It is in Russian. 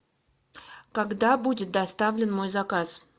когда будет доставлен мой заказ